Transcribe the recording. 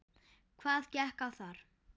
Hvað gekk á þar?